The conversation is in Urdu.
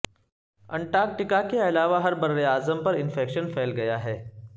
انٹارکٹیکا کے علاوہ ہر براعظم پر انفیکشن پھیل گیا ہے